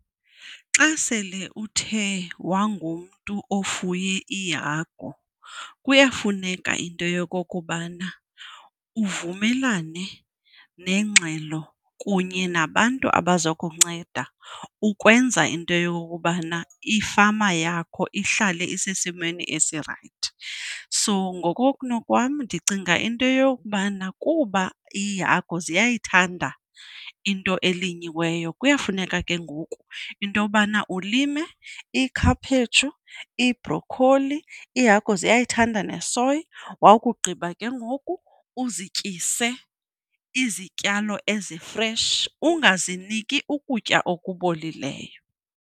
Xa sele uthe wangumntu ofuye iihagu kuyafuneka into yokokubana uvumelane nengxelo kunye nabantu abaza kunceda ukwenza into yokokubana ifama yakho ihlale isesimeni esirayithi. So ngokokunokwam ndicinga into yokubana kuba iihagu ziyayithanda into elinyiweyo, kuyafuneka ke ngoku into yobana ulime iikhaphetshu, iibhrokholi, iihagu ziyayithanda nesoyi. Wakugqiba ke ngoku uzityise izityalo ezi-fresh, ungaziniki ukutya okubolileyo.